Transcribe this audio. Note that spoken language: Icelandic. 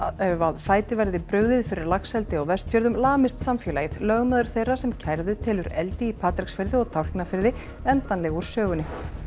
fæti verði brugðið fyrir laxeldi á Vestfjörðum lamist samfélagið lögmaður þeirra sem kærðu telur eldi í Patreksfirði og Tálknafirði endanlega úr sögunni